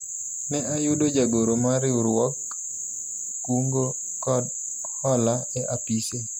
ne ayudo jagoro mar riwruog kungo kod hola e apise